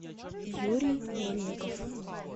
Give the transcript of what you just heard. юрий мельников